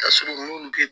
Kasɔrɔ olu te